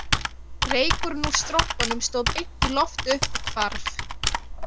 Reykurinn úr strompunum stóð beint í loft upp og hvarf